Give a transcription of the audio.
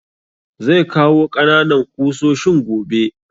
Zai kawo ƙananan ƙusoshin gobe